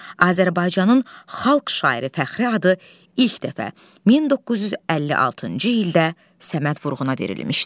Azərbaycanın Xalq şairi fəxri adı ilk dəfə 1956-cı ildə Səməd Vurğuna verilmişdi.